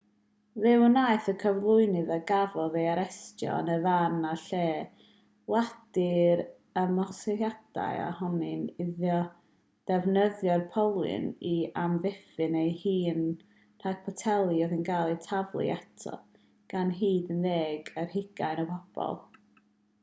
fe wnaeth y cyflwynydd a gafodd ei arestio yn y fan a'r lle wadu'r ymosodiad a honni iddo ddefnyddio'r polyn i amddiffyn ei hun rhag poteli oedd yn cael eu taflu ato gan hyd at ddeg ar hugain o bobl